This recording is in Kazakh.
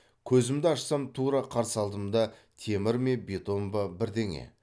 көзімді ашсам тура қарсы алдымда темір ме бетон ба бірдеңе